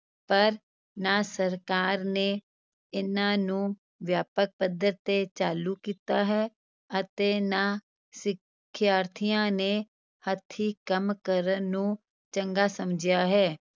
ਪਰ ਨਾ ਸਰਕਾਰ ਨੇ ਇਨ੍ਹਾਂ ਨੂੰ ਵਿਆਪਕ ਪੱਧਰ ਤੇ ਚਾਲੂ ਕੀਤਾ ਹੈ ਅਤੇ ਨਾ ਸਿਖਿਆਰਥੀਆਂ ਨੇ ਹੱਥੀਂ ਕੰਮ ਕਰਨ ਨੂੰ ਚੰਗਾ ਸਮਝਿਆ ਹੈ।